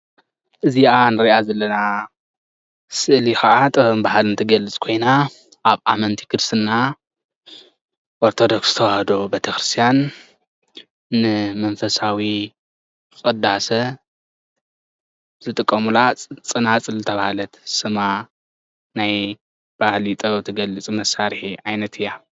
እዛኣ እንርኣ ዘለና ስእሊካዓ ጥበብን ባህልን ትገልፅ ኮይና ኣብ ኣመንቲ ክርስትና ኦርቶዶከስ ተዋህዶ ቤተክርስትያን ንመንፈሳዊ ቅዳሴ ዝጥቀሙላ ፅናፅል ዝተባሃለት ስማ ናይ ባህላዊ ጥበብ እትገልፅ ዓይነት መሳሪሒ ኢያ።